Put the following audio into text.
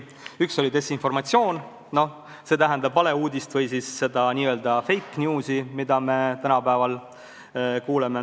Üks oli desinformatsioon, see tähendab valeuudist või siis seda n-ö fake news'i, millest tänapäeval räägitakse.